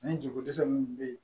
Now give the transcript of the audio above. Ani jiko dɛsɛ minnu bɛ yen